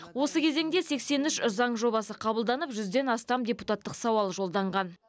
осы кезеңде сексен үш заң жобасы қабылданып жүзден астам депутаттық сауал жолданған